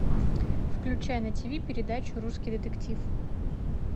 включай на тиви передачу русский детектив